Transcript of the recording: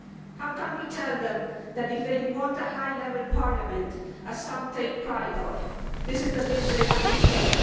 How can we tell them that if they want a high level parliament which some take pride in this is the bill they have to pay?